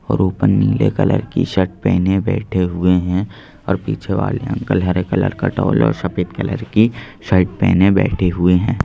और ऊपर नीले कलर की शर्ट पहने बैठे हुए हैं और पीछे वाले अंकल हरे कलर का टॉल और सफेद कलर की शर्ट पहने बैठे हुए हैं।